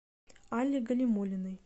алле галимуллиной